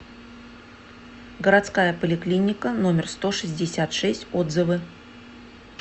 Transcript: городская поликлиника номер сто шестьдесят шесть отзывы